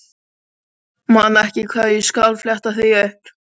Ég man ekki hvar en ég skal fletta því upp.